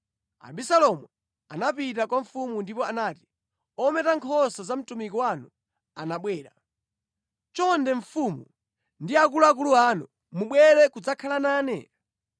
Abisalomu anapita kwa mfumu ndipo anati, “Ometa nkhosa za mtumiki wanu anabwera. Chonde mfumu ndi akuluakulu anu mubwere kudzakhala nane?”